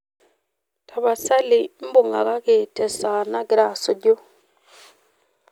tapasali ubungaki te esaa nagira asuju